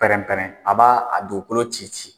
Pɛrɛn pɛrɛn a b'a a dugukolo ci ci